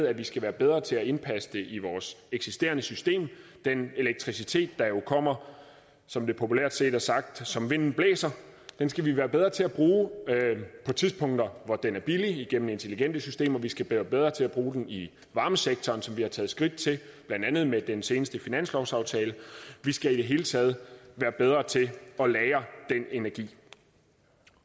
at vi skal være bedre til at indpasse det i vores eksisterende system den elektricitet der jo kommer som det populært siges som vinden blæser skal vi være bedre til at bruge på tidspunkter hvor den er billig gennem intelligente systemer og vi skal være bedre til at bruge den i varmesektoren som vi har taget skridt til blandt andet med den seneste finanslovsaftale vi skal i det hele taget være bedre til at lagre den energi